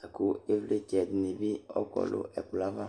laku ɩʋlɩtsɛ dini bi ɔkɔ nu ɛkplɔ'ava